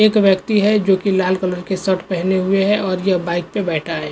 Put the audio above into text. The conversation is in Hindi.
एक व्यक्ति है जो कि लाल कलर के शर्ट पहने हुए हैं और ये बाइक पे बैठा है।